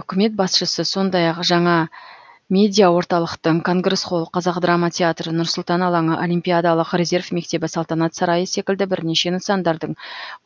үкімет басшысы сондай ақ жаңа медиаорталықтың конгресс холл қазақ драма театры нұр сұлтан алаңы олимпиадалық резерв мектебі салтанат сарайы секілді бірнеше нысандардың